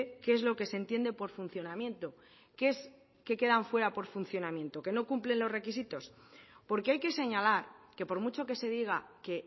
qué es lo que se entiende por funcionamiento qué es que quedan fuera por funcionamiento qué no cumplen los requisitos porque hay que señalar que por mucho que se diga que